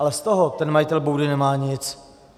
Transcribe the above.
Ale z toho ten majitel boudy nemá nic.